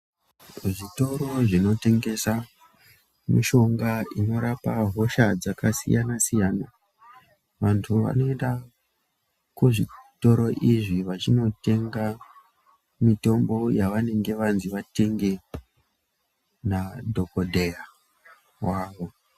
Zvitoro zvinotengesa mishonga inorapa hosha dzakasiyana-siyana, vantu vanoenda kuzvitoro izvi vachinotenga mitombo yavanenge vanzi vatenge nadhokodheya wavo.